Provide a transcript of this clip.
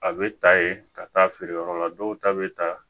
A bɛ ta ye ka taa feere yɔrɔ la dɔw ta bɛ taa